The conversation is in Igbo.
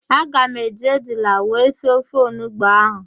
Aga m eji ejula wee sie ofe onugbo ahụ.